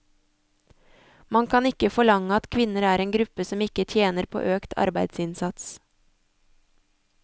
Man kan ikke forlange at kvinner er en gruppe som ikke tjener på økt arbeidsinnsats.